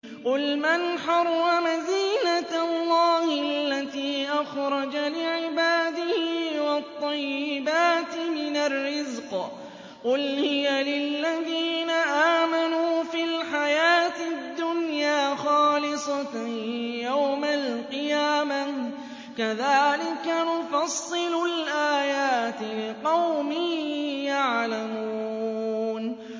قُلْ مَنْ حَرَّمَ زِينَةَ اللَّهِ الَّتِي أَخْرَجَ لِعِبَادِهِ وَالطَّيِّبَاتِ مِنَ الرِّزْقِ ۚ قُلْ هِيَ لِلَّذِينَ آمَنُوا فِي الْحَيَاةِ الدُّنْيَا خَالِصَةً يَوْمَ الْقِيَامَةِ ۗ كَذَٰلِكَ نُفَصِّلُ الْآيَاتِ لِقَوْمٍ يَعْلَمُونَ